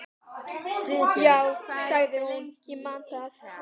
Jú, sagði hún, ég man það.